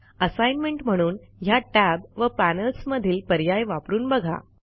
assignment म्हणून ह्या tab व पॅनेल्स मधील पर्याय वापरून बघा